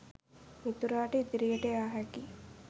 මිතුරාට ඉදිරියට යා හැකි